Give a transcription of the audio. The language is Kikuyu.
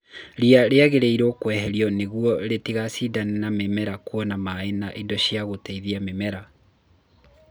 Ria rĩagĩrĩirwo kweherio nĩguo rĩtigacindane na mĩmera kwona maĩ na indo cia gũteithia mĩmera.